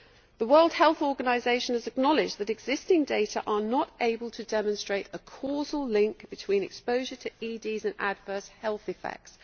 The World Health Organization has acknowledged that existing data are not able to demonstrate a causal link between exposure to EDs and adverse health effects.